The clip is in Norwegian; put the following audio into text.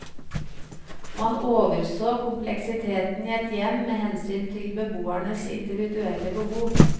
Man overså kompleksiteten i et hjem med hensyn til beboernes individuelle behov.